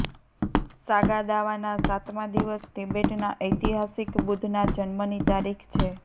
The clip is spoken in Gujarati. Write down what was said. સાગા દાવાના સાતમા દિવસ તિબેટના ઐતિહાસિક બુદ્ધના જન્મની તારીખ છે